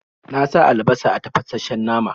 Na sa albasa a tafashen nama.